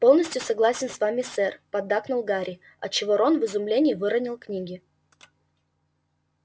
полностью согласен с вами сэр поддакнул гарри отчего рон в изумлении выронил книги